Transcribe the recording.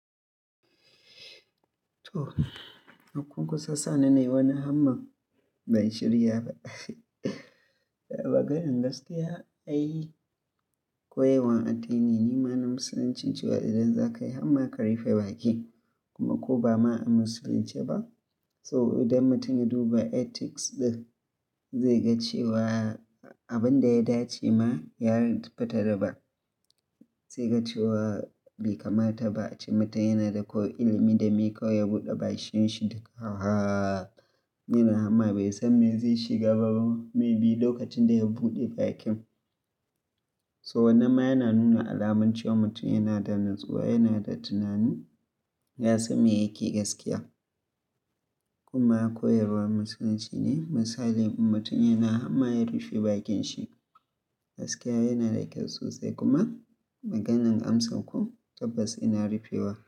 To, unkun kusa sa ni nai wani Allah ban shirya ba. Maganan gaskiya ai ko yanwan addini ne ma na Musulunci cewa idan za ka yi hamma ka rufe baki kuma ko ba ma an musulunce ba. So idan mutum ya duba ethics ɗin zai ga cewa abin da ya dace ma ya riƙi fitarar ba. Zai ga cewa bai kamata ba ace mutum yana da ko ilimi dame kawai ya buɗe bashin shi duka awwa. Yana hamma bai san me zai shiga ba may bi lokacin da ya buɗe bakin. So wannan ma yana nuna alamun cewa mutum yana da natsuwa, yana da tunani, ya san me yake gaskiya. Kuma koyarwar Musulunci ne misali in mutum yana hamma ya rufe bakin shi. Gaskiya yana da kyau sosai kuma maganan amsa ko tabbas ina rufewa.